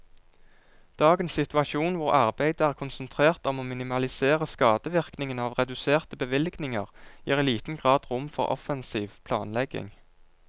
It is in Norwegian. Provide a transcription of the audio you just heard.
Dagens situasjon, hvor arbeidet er konsentrert om å minimalisere skadevirkningene av reduserte bevilgninger, gir i liten grad rom for offensiv planlegging.